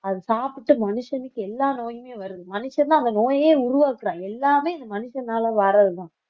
அது சாப்பிட்டு மனுஷனுக்கு எல்லா நோயுமே வருது மனுஷன்தான் அந்த நோயையே உருவாக்குறான் எல்லாமே இந்த மனுஷனால வர்றதுதான்